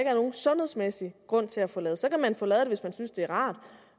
er nogen sundhedsmæssig grund til at få lavet så kan man få det lavet hvis man synes det er rart